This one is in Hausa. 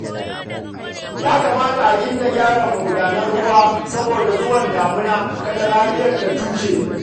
Ya kamata a gyara magudanan ruwa saboda zuwan damina, kada rariya ta cushe